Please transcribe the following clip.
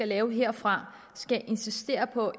laver herfra skal insistere på